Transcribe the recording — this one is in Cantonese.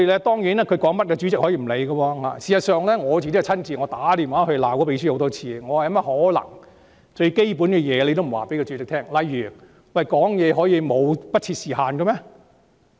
當然，內會主席可以不理會秘書處的意見，我亦親自多次致電內會秘書，責罵他不能不告訴主席基本規則，例如：發言可以不設時限嗎？